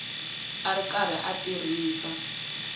a ri karhi a tirhisa